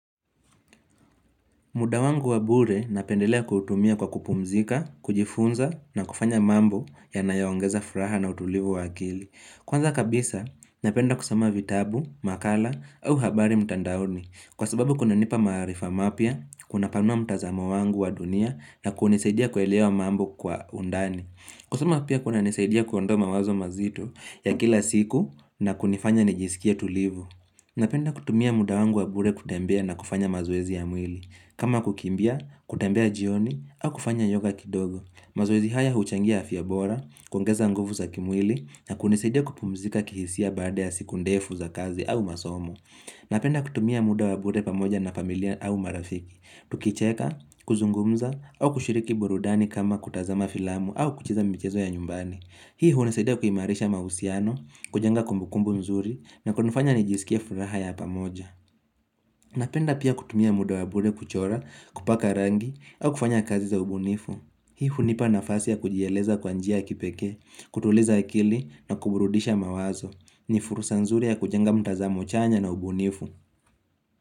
Muda wangu wa bure napendelea kutumia kwa kupumzika, kujifunza na kufanya mambo yanayo ongeza furaha na utulivu wa akili. Kwanza kabisa, napenda kusoma vitabu, makala au habari mtandaoni. Kwa sababu kunanipa maarifa mapya, kuna panua mtazamo wangu wa dunia na kunisaidia kuelewa mambo kwa undani. Kusama pia kuna nisaidia kuondoa mawazo mazito ya kila siku na kunifanya nijisikie tulivu. Napenda kutumia muda wangu wa bure kutembea na kufanya mazoezi ya mwili. Kama kukimbia, kutembea jioni, au kufanya yoga kidogo. Mazoezi haya huchangia afya bora, kuongeza nguvu za kimwili, na kunisidia kupumzika kihisia baada ya siku ndefu za kazi au masomo. Napenda kutumia muda wa bure pamoja na familia au marafiki. Tukicheka, kuzungumza, au kushiriki burudani kama kutazama filamu au kucheza michezo ya nyumbani. Hii hunisidia kuimarisha mausiano, kujenga kumbukumbu mzuri, na kunifanya nijisikie furaha ya pamoja. Napenda pia kutumia muda wa bure kuchora, kupaka rangi, au kufanya kazi za ubunifu. Hii hunipa nafasi ya kujieleza kwa njia ya kipekee, kutuliza akili na kuburudisha mawazo. Ni furusa nzuri ya kujenga mtazamo chanya na ubunifu.